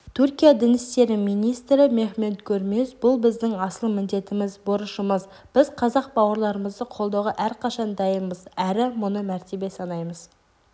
түркия дін істері министрі мехмет гөрмез бұл біздің асыл міндетіміз борышымыз біз қазақ бауырларымызды қолдауға әрқашан дайынбыз әрі мұны мәртебе санаймыз